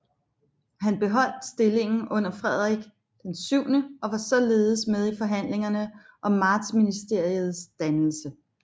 Han beholdt stillingen under Frederik VII og var således med i forhandlingerne om Martsministeriets dannelse